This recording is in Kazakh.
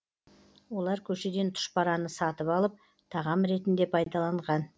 олар көшеден тұшпараны сатып алып тағам ретінде пайдаланған